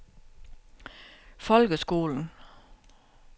folkeskolen